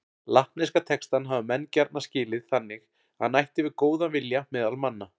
Latneska textann hafa menn gjarna skilið þannig að hann ætti við góðan vilja meðal manna.